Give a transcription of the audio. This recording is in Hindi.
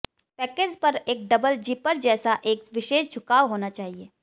पैकेज पर एक डबल जिपर जैसा एक विशेष झुकाव होना चाहिए